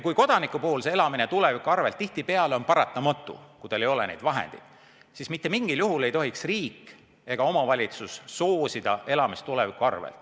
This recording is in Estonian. Kui kodaniku puhul see elamine tuleviku arvel tihtipeale on paratamatu, kui tal ei ole neid vahendeid, siis mitte mingil juhul ei tohiks riik ega omavalitsus soosida elamist tuleviku arvel.